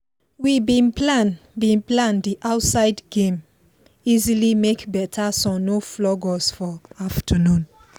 we bin plan bin plan the outside game easily make better sun no flog us for afternoon